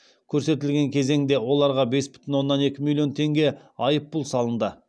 көрсетілген кезеңде оларға бес бүтін оннан екі миллион теңге айыппұл салынды